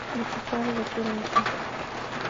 вячеславе закировиче